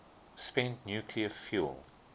spent nuclear fuel